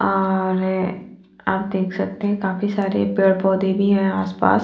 और आप देख सकते है काफी सारे पेड़ पौधे भी है आस पास--